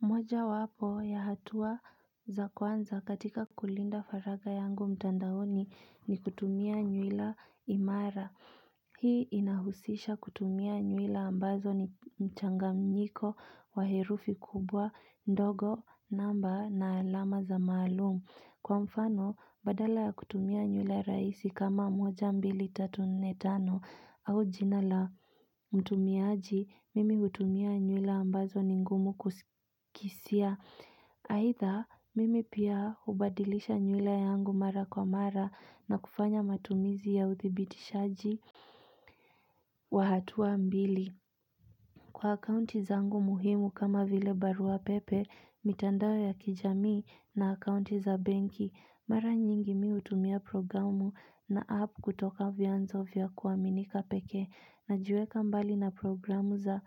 Mojawapo ya hatua za kwanza katika kulinda faragha yangu mtandaoni ni kutumia nywila imara Hii inahusisha kutumia nywila ambazo ni mchanganyiko wa herufi kubwa ndogo namba na alama za maalumu Kwa mfano, badala ya kutumia nywila rahisi kama moja mbili tatu nne tano au jina la mtumiaji, mimi hutumia nywila ambazo ni ngumu kusikizia. Aidha, mimi pia hubadilisha nywila yangu mara kwa mara na kufanya matumizi ya uthibitishaji. Wa hatua mbili. Kwa akaunti zangu muhimu kama vile barua pepe, mitandao ya kijamii na akaunti za benki, mara nyingi mimi hutumia programu na app kutoka vianzo vya kuaminika peke. Najiweka mbali na programu za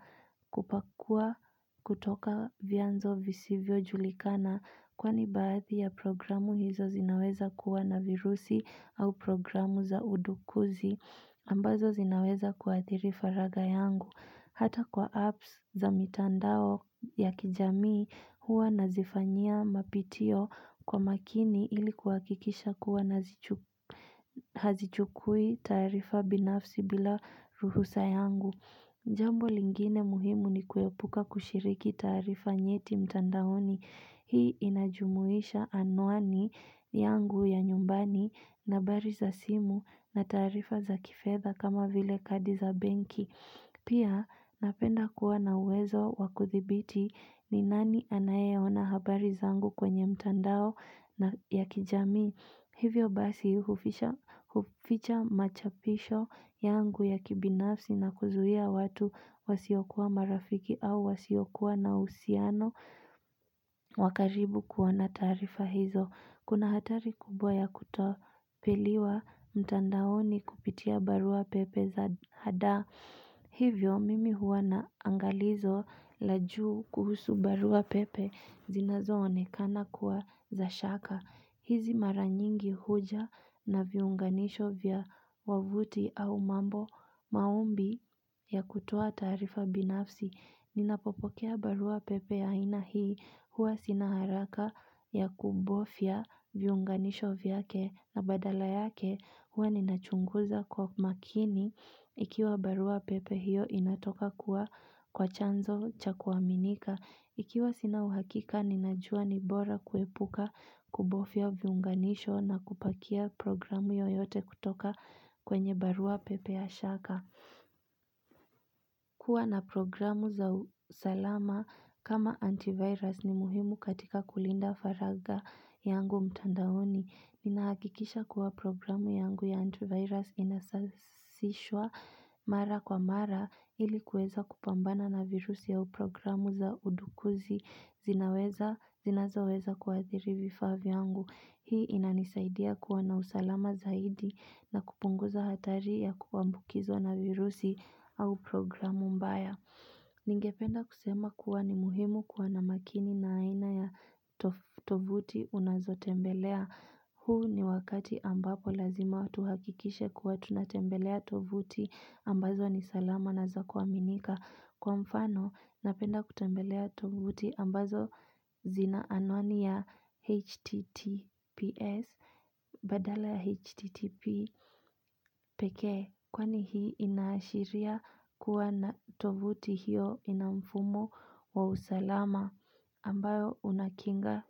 kupakua kutoka vianzo visivyojulikana kwani baadhi ya programu hizo zinaweza kuwa na virusi au programu za udukuzi ambazo zinaweza kuathiri faragha yangu. Hata kwa apps za mitandao ya kijamii huwa nazifanyia mapitio kwa makini ili kuhakikisha kuwa hazichukui taarifa binafsi bila ruhusa yangu Jambo lingine muhimu ni kuepuka kushiriki taarifa nyeti mtandaoni Hii inajumuisha anuani yangu ya nyumbani na habari za simu na taarifa za kifedha kama vile kadi za benki Pia napenda kuwa na uwezo wa kuthibiti ni nani anayeona habari zangu kwenye mtandao na ya kijamii. Hivyo basi huficha machapisho yangu ya kibinafsi na kuzuia watu wasiokuwa marafiki au wasiokuwa na uhusiano wa karibu kuwa na taarifa hizo. Kuna hatari kubwa ya kutopiliwa mtandaoni kupitia barua pepe za hadaa. Hivyo, mimi huwa na angalizo la juu kuhusu barua pepe zinazoonekana kuwa za shaka. Hizi mara nyingi huja na viunganisho vya wavuti au mambo maombi ya kutoa taarifa binafsi. Ninapopokea barua pepe ya aina hii huwa sina haraka ya kubofya viunganisho vyake na badala yake huwa ninachunguza kwa makini ikiwa barua pepe hiyo inatoka kuwa kwa chanzo cha kuaminika Ikiwa sina uhakika ninajua ni bora kuepuka kubofya viunganisho na kupakia programu yoyote kutoka kwenye barua pepe ya shaka kuwa na programu za usalama kama antivirus ni muhimu katika kulinda faragha yangu mtandaoni. Ninahakikisha kuwa programu yangu ya antivirus inasasishwa mara kwa mara ili kuweza kupambana na virusi au programu za udukuzi zinazoweza kuwathiri vifaa vyangu. Hii inanisaidia kuwa na usalama zaidi na kupunguza hatari ya kuambukizwa na virusi au programu mbaya. Ningependa kusema kuwa ni muhimu kuwa na makini na aina ya tovuti unazotembelea. Huu ni wakati ambapo lazima tuhakikishe kuwa tunatembelea tovuti ambazo ni salama na za kuaminika. Kwa mfano, napenda kutembelea tovuti ambazo zina anwani ya HTTPS. Badala ya H.T.T.P. Peke kwani hii inaashiria kuwa na tovuti hiyo ina mfumo wa usalama ambayo unakinga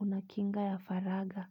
unakinga ya faragha.